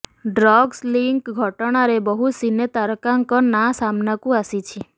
drugs link ଘଟଣାରେ ବହୁ ସିନେ ତାରକାଙ୍କ ନାଁ ସାମ୍ନାକୁ ଆସିଛି